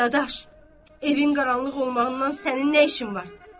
Dadaş, evin qaranlıq olmağından sənin nə işin var?